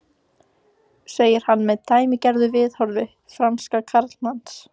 segir hann með dæmigerðu viðhorfi fransks karlmanns.